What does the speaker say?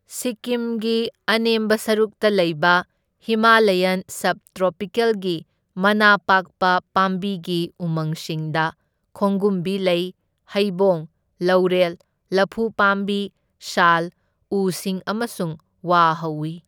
ꯁꯤꯛꯀꯤꯝꯒꯤ ꯑꯅꯦꯝꯕ ꯁꯔꯨꯛꯇ ꯂꯩꯕ ꯍꯤꯃꯥꯂꯥꯌꯟ ꯁꯕ ꯇ꯭ꯔꯣꯄꯤꯀꯦꯜꯒꯤ ꯃꯅꯥ ꯄꯥꯛꯄ ꯄꯥꯝꯕꯤꯒꯤ ꯎꯃꯪꯁꯤꯡꯗ ꯈꯣꯡꯒꯨꯝꯕꯤ ꯂꯩ, ꯍꯩꯕꯣꯡ, ꯂꯧꯔꯦꯜ, ꯂꯐꯨ ꯄꯥꯝꯕꯤ, ꯁꯥꯜ ꯎꯁꯤꯡ ꯑꯃꯁꯨꯡ ꯋꯥ ꯍꯧꯢ꯫